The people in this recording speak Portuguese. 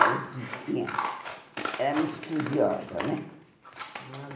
era estu tinha Era muito estudiosa, né? Ah